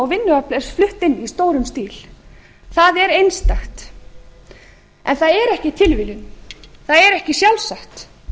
inn í stórum stíl það er einstakt en það er ekki tilviljun það er ekki sjálfsagt